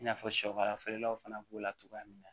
I n'a fɔ shɛkara feerelaw fana b'o la cogoya min na